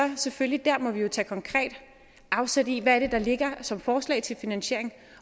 vi selvfølgelig tage konkret afsæt i hvad det er der ligger som forslag til finansiering